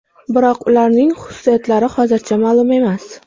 Biroq ularning xususiyatlari hozircha ma’lum emas.